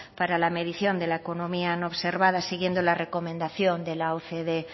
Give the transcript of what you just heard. para la medición de la economía no observada siguiendo la recomendación de la ocde